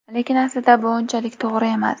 Lekin aslida bu unchalik to‘g‘ri emas.